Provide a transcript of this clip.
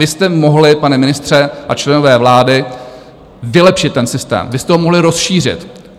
Vy jste mohli, pane ministře a členové vlády, vylepšit ten systém, vy jste ho mohli rozšířit.